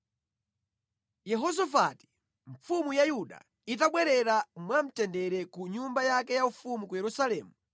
Yehosafati, mfumu ya Yuda itabwerera mwamtendere ku nyumba yake yaufumu ku Yerusalemu,